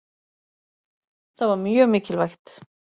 Það var mjög mikilvægt.